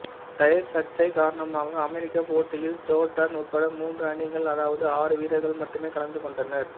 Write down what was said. tyre சர்ச்சை காரணமாக அமெரிக்கப் போட்டியில் ஜோர்டான் உட்பட மூன்று அணிகள் அதாவது ஆறு வீரர்கள் மட்டுமே கலந்து கொண்டனர்